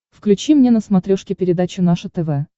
включи мне на смотрешке передачу наше тв